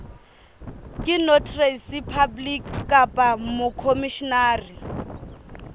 ke notary public kapa mokhomishenara